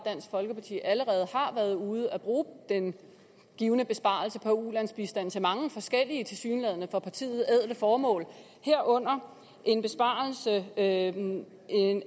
dansk folkeparti allerede har været ude at bruge den givne besparelse på ulandsbistanden til mange forskellige for partiet tilsyneladende ædle formål herunder at